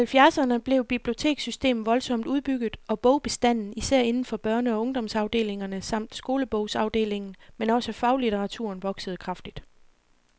I halvfjerdserne blev bibliotekssystemet voldsomt udbygget, og bogbestanden, især inden for børne og ungdomsafdelingerne samt skolebogsafdelingen, men også faglitteraturen, voksede kraftigt.